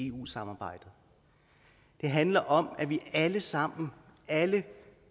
eu samarbejdet det handler om at vi alle sammen alle